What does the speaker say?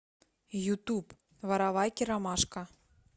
ютуб воровайки ромашка